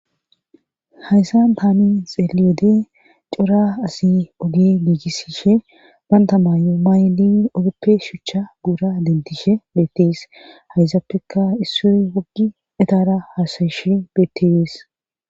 hayssan tani xeeliyode cora asi oge giigisishe banta maayu maayli ogeppe shuchcha guura dentishe beettes hayzappeka isso woggi etara haasayishe bettees